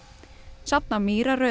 safna